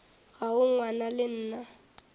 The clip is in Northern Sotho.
ga o ngwana le nna